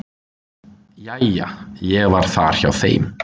"""Jæja, ég var þar hjá þeim."""